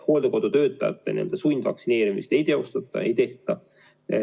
Hooldekodutöötajate sundvaktsineerimist ei teostata, ei tehta.